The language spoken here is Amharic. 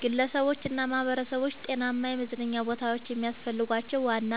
ግለሰቦችና ማኅበረሰቦች ጤናማ የመዝናኛ ቦታዎች የሚያስፈልጓቸው ዋና